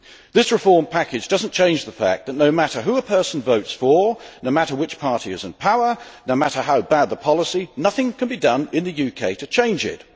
This reform package does not change the fact that no matter who a person votes for, no matter which party is in power, no matter how bad the policy, nothing can be done in the UK to change it.